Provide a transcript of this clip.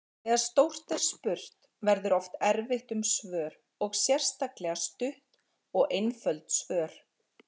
Þegar stórt er spurt verður oft erfitt um svör og sérstaklega stutt og einföld svör.